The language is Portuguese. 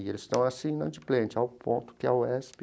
E eles estavam assim, inadimplente, ao ponto que a UESP.